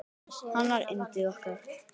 Hann var yndið okkar.